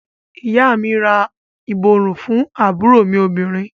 Ìyá à mi ra ìborùn fún àbúrò mí obìnrin.